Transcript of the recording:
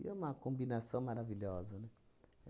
E é uma combinação maravilhosa, né?